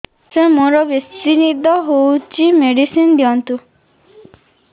ସାର ମୋରୋ ବେସି ନିଦ ହଉଚି ମେଡିସିନ ଦିଅନ୍ତୁ